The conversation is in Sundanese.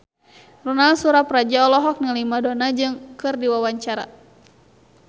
Ronal Surapradja olohok ningali Madonna keur diwawancara